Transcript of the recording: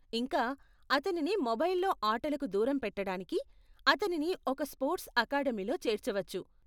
ఇంకా, అతనిని మొబైల్లో ఆటలకు దూరం పెట్టటానికి, అతనిని ఒక స్పోర్ట్స్ అకాడెమీలో చేర్చవచ్చు.